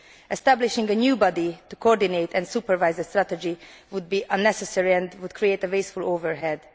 establishing a new body to coordinate and supervise the strategy would be unnecessary and would create a wasteful overhead.